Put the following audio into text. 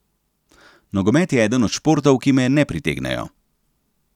Nogomet je eden od športov, ki me ne pritegnejo.